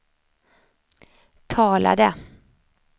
talade